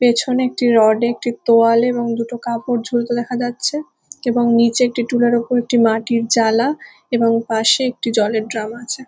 পেছনে আরেকটি রড -এ একটি তোয়ালে এবং দুটো কাপড় ঝুলতে দেখা যাচ্ছে এবং নীচে একটি টুলের ওপর একটি মাটির জালা এবং পাশে একটি জলের ড্রাম আছে।